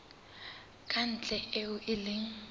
ka ntle eo e leng